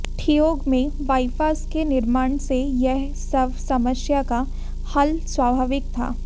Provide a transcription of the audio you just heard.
ठियोग में बाइपास के निर्माण से यह सब समस्या का हल स्वाभाविक था